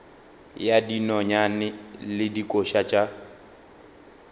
ya dinonyane le dikoša tša